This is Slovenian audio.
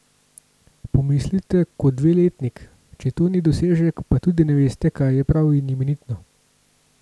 Pomislite, kot dveletnik, če to ni dosežek, pa tudi ne veste, kaj je prav in imenitno!